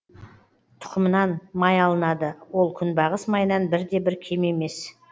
тұкымынан май алынады ол күнбағыс майынан бірде бір кем емес